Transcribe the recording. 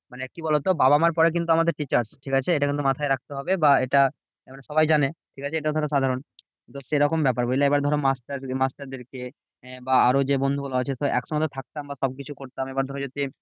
মানে কি বলতো? বাবা মার পরে কিন্তু আমাদের teacher ঠিকাছে? এটা কিন্তু মাথায় রাখতে হবে। বা এটা মানে সবাই জানে ঠিকাছে? এটাও ধরো সাধারণ। তো সেরকম ব্যাপার বুঝলে? এবার ধরো মাস্টার যদি মাস্টারদেরকে বা আরো যে বন্ধুগুলো আছে একসঙ্গে তো থাকতাম বা সবকিছু করতাম। এবার ধরো যদি